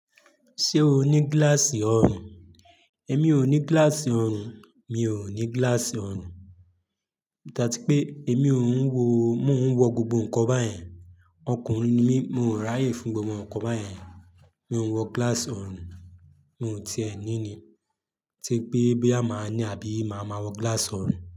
Ṣé o ní gíláàsì ọrùn? Èmi ò ní gíláàsì ọrùn, mi ò ní gíláàsì ọrùn. Áti pé èmi ò ń wọ, mo ń wọ gbogbo nnkan báyen. Ọkùnrin ni mí, mo ń ráyè fún gbogbo ǹkan báyen. Mi ò ń wọ gíláàsì ọrùn, mo ti ẹ̀ ní i ni. Tí pé boya máa ní àbí máa ma wọ gíláàsì ọrùn.